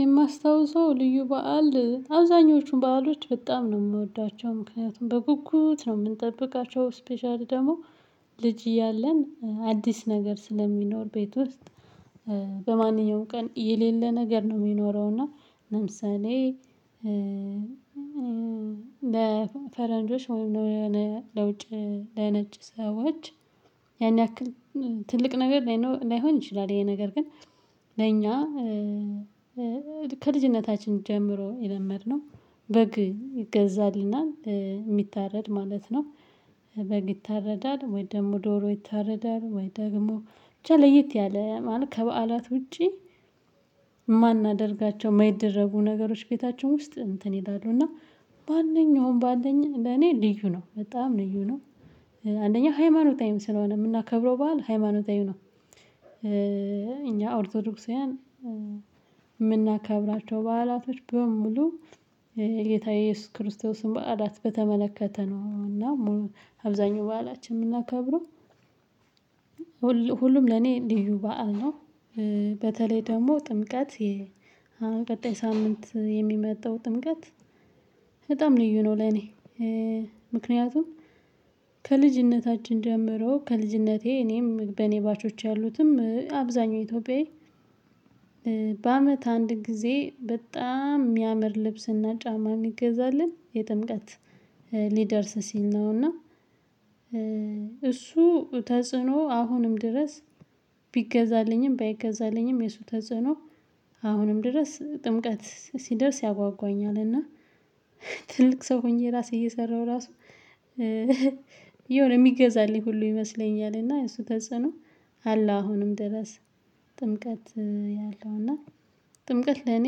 የማስታውሰው ልዩ በዓል አብዛኞቹን በዓሎች በጣም ነው የምወዳቸው ምክንያቱም በጉጉት ነው የምንጠብቃቸው ስፔሻሊ ደግሞ ልጅ እያለን አዲስ ነገር ስለሚኖር ቤት ውስጥ በማንኛውም ቀን የሌለ ነገር ነው የሚኖረው። እና ለምሳሌ ለፈረንጆች ወይም የሆነ ለውጭ ለነጭ ሰዎች ያን ያክል ትልቅ ነገር ላይሆን ይችላል። ይሄ ነገር ግን ለኛ ከልጅነታችን ጀምሮ የለመድነው በግ ይገዛልና የሚታረድ ማለት ነው። በግ ይታረዳል ወይ ደግሞ ዶሮ ይታረዳል ወይ ደግሞ ለይት ያለ ማለት ከበዓላት ውጪ። የማናደርጋቸው የማይደረጉ ነገሮች ቤታቸውን ውስጥ እንትን ይላሉ እና ማንኛውም በዓል ለኔ ልዩ ነው በጣም ልዩ ነው። አንደኛ ሃይማኖታዊም ስለሆነ የምናከብረው በዓል ሃይማኖታዊም ነው። እኛ ኦርቶዶክሳውያን የምናከብራቸው በዓላቶች በሙሉ ጌታ ኢየሱስ ክርስቶስን በዓላት በተመለከተ ነው እና አብዛኛው በዓላችን የምናከብረው። ሁሉም ለኔ እንልዩ በዓል ነው። በተለይ ደግሞ ጥምቀት የቀጣይ ሳምንት የሚመጣው ጥምቀት በጣም ልዩ ነው ለኔ። ምክንያቱም ከልጅነታችን ጀምሮ ከልጅነቴ እኔም በኔባቾች ያሉትም አብዛኛው ኢትዮጵያዊ። በአመት አንድ ጊዜ በጣም የሚያምር ልብስና ጫማ የሚገዛለን የጥምቀት ሊደርስ ሲል ነው። እና እሱ ተጽዕኖ አሁንም ድረስ ቢገዛልኝም ባይገዛልኝም የሱ ተጽዕኖ አሁንም ድረስ ጥምቀት ሲደርስ ያጓጓኛል እና። ትልቅ ሰው ሆኜ ራሴ እየሰራሁ ራሱ የሆነ የሚገዛልኝ ሁሉ ይመስለኛል። እና እሱ ተጽዕኖ አላህ አሁንም ድረስ ጥምቀት ያለው እና ጥምቀት ለኔ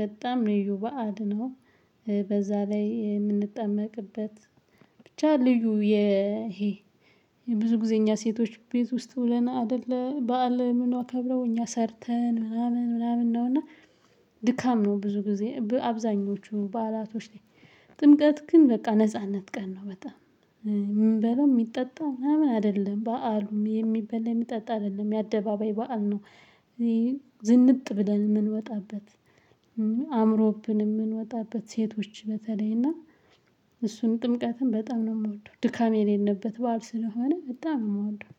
በጣም ልዩ በዓል ነው። በዛ ላይ የምንጠመቅበት ብቻ ልዩ ይሄ ብዙ ጊዜ እኛ ሴቶች ቤት ውስጥ ውለና አይደለ በዓል ምን አከብረው እኛ ሰርተን ምናምን ምናምን ነው። እና ድካም ነው ብዙ ጊዜ አብዛኞቹ በዓላቶች ላይ። ጥምቀት ግን በቃ ነጻነት ቀን ነው በጣም የምንበለው የሚጠጣ ምናምን አይደለም በዓሉም የሚበል የሚጠጣ አይደለም የአደባባይ በዓል ነው። ዝንጥ ብለን የምንወጣበት አእምሮብን የምንወጣበት ሴቶች በተለይ እና እሱን ጥምቀትን በጣም ነው የምወደው ድካም የሌለበት በዓል ስለሆነ በጣም ነው የምወደው።